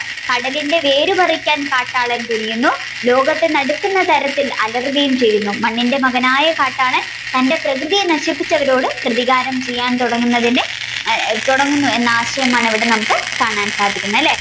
കടലിന്റെ വേര് പറിക്കാൻ കാട്ടാളൻ തുനിയുന്നു ലോകത്തിനെ നടക്കുന്ന തരത്തിൽ അലറുകയും ചെയ്യുന്നു മണ്ണിന്റെ മകനായ കാട്ടാളൻ തന്റെ പ്രകൃതിയെ നശിപ്പിച്ചവരോട് പ്രതികാരം ചെയ്യാൻ തുടങ്ങുന്നതിന് അഹ് തുടങ്ങുന്നു എന്ന ആശയമാണ് നമ്മുക്ക് ഇവിടെ കാണാൻ സാധിക്കുന്നത്